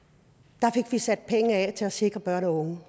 der sat penge af til at sikre børn og unge